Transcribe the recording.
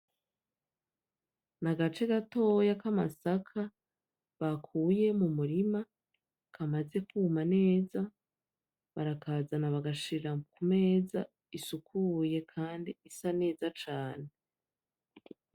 Nagace gatoya k'amasaka bakuye mu murima, kamaze kuma neza barakazana bagashira ku meza isukuye kandi isa neza cane.